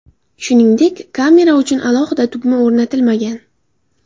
Shuningdek, kamera uchun alohida tugma o‘rnatilmagan.